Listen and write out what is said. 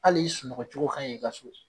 Al'i sunɔgɔ cogo kanɲi i ka so